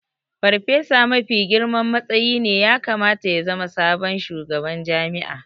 Farfesa mafi girman matsayi ne ya kamata ya zama sabon shugaban jami'a